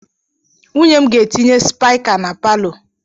Nwunye m ga-etinye spika na palọ.